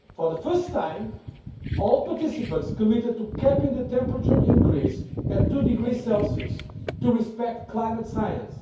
For the first time, all participants committed to capping the temperature increase at 2°C to respect climate science.